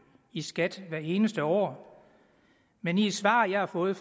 i skat hvert eneste år men i et svar jeg har fået